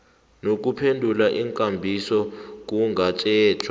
nokuphendula iinkambiso kungatjhejwa